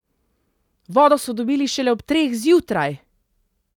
Vodo so dobili šele ob treh zjutraj!